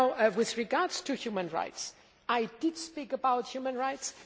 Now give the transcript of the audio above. With regard to human rights, I did speak about human rights.